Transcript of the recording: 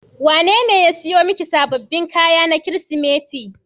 Wanene ya siyo miki sababbin kaya na Kirsimeti.